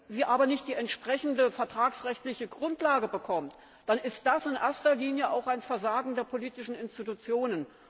Wenn sie aber nicht die entsprechende vertragsrechtliche Grundlage bekommt, dann ist das in erster Linie auch ein Versagen der politischen Institutionen.